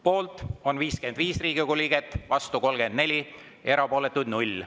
Poolt on 55 Riigikogu liiget, vastu 34, erapooletuid 0.